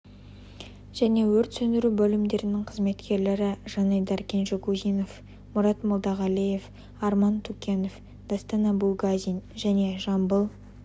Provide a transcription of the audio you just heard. және өрт сөндіру бөлімдерінің қызметкерлері жанайдар кенжегузинов мұрат молдағалиев арман тукенов дастан абулгазин және жамбыл